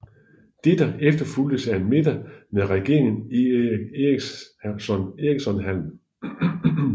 Dette efterfulgtes af en middag med regeringen i Eric Ericsonhallen